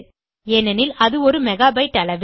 ஏனெனில் அது ஒரு மெகாபைட்டு அளவே